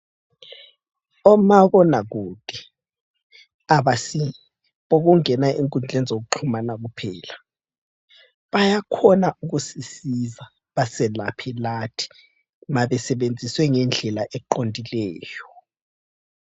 Omabonakude abasibo bokungena enkundleni zokuxhumana kuphela ,bayakhona ukusisiza baselaphe lathi nxa besebenziswe ngendlela eqondileyo